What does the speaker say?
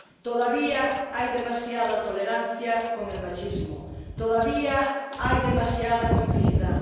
Todavía hay demasiada tolerancia con el machismo todavía hay demasiada complicidad.